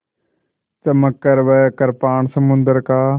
चमककर वह कृपाण समुद्र का